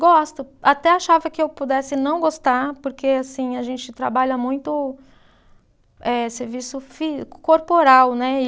Gosto, até achava que eu pudesse não gostar, porque assim, a gente trabalha muito eh serviço fi, corporal, né?